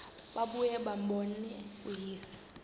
babuye bambone uyise